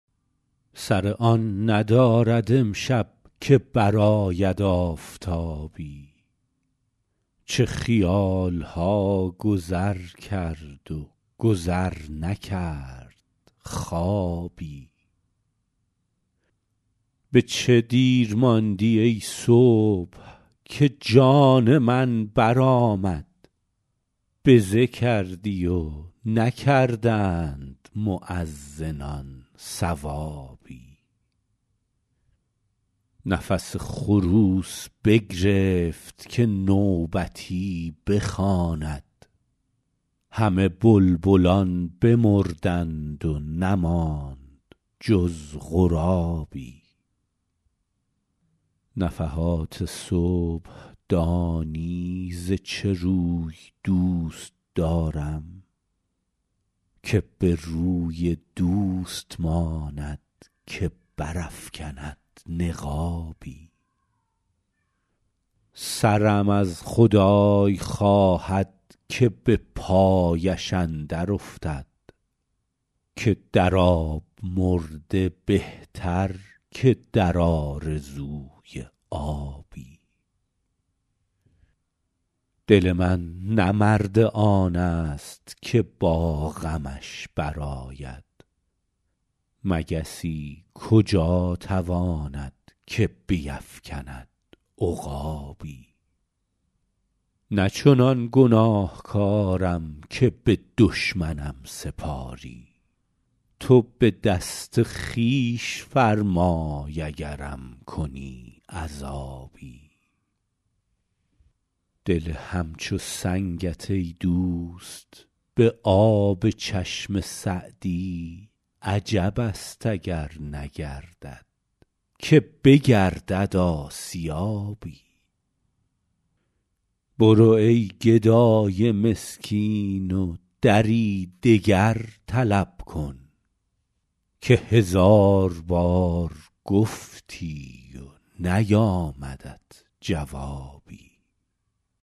سر آن ندارد امشب که برآید آفتابی چه خیال ها گذر کرد و گذر نکرد خوابی به چه دیر ماندی ای صبح که جان من برآمد بزه کردی و نکردند مؤذنان ثوابی نفس خروس بگرفت که نوبتی بخواند همه بلبلان بمردند و نماند جز غرابی نفحات صبح دانی ز چه روی دوست دارم که به روی دوست ماند که برافکند نقابی سرم از خدای خواهد که به پایش اندر افتد که در آب مرده بهتر که در آرزوی آبی دل من نه مرد آن ست که با غمش برآید مگسی کجا تواند که بیفکند عقابی نه چنان گناهکارم که به دشمنم سپاری تو به دست خویش فرمای اگرم کنی عذابی دل همچو سنگت ای دوست به آب چشم سعدی عجب است اگر نگردد که بگردد آسیابی برو ای گدای مسکین و دری دگر طلب کن که هزار بار گفتی و نیامدت جوابی